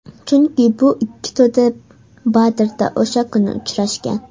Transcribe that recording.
Chunki bu ikki to‘da Badrda o‘sha kuni uchrashgan.